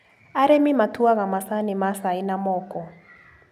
Arĩmi matuaga macani ma cai na moko.